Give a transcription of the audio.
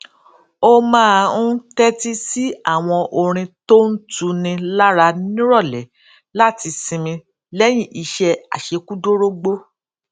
ó máa ń tétí sí àwọn orin tó ń tuni lára níròlé láti sinmi léyìn iṣé àṣekúdórógbó